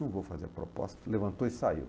Não vou fazer a proposta, levantou e saiu.